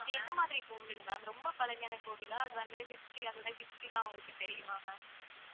அது எந்த மாதிரிக் கோவில் ma'am ரொம்ப பழமையான கோவிலா அது வந்து history அதோட history எல்லாம் உங்களுக்குத் தெரியுமா ma'am